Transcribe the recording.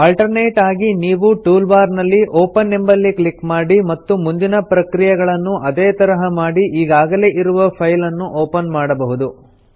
alternate ಆಗಿ ನೀವು tool bar ನಲ್ಲಿ ಒಪೆನ್ ಎಂಬಲ್ಲಿ ಕ್ಲಿಕ್ ಮಾಡಿ ಮತ್ತು ಮುಂದಿನ ಪ್ರಕ್ರಿಯೆಗಳನ್ನು ಅದೇ ತರಹ ಮಾಡಿ ಈಗಾಗಲೇ ಇರುವ ಫೈಲನ್ನು ಒಪನ್ ಮಾಡಬಹುದು